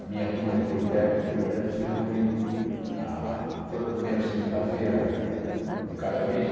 A minha turma de politécnicos, por exemplo, se reúne ah toda primeira segunda-feira de cada mês.